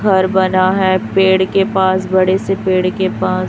घर बना है पेड़ के पास बड़े से पेड़ के पास।